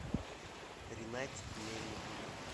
ринатике мельникове